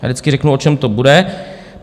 Já vždycky řeknu, o čem to bude.